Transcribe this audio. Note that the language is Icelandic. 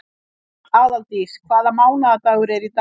Aðaldís, hvaða mánaðardagur er í dag?